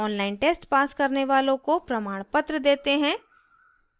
online test pass करने वालों को प्रमाणपत्र देते हैं